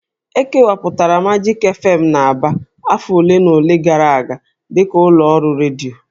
E kewapụtara Majik fm n'Aba afọ ole na ole gara aga dịka ụlọ ọrụ redio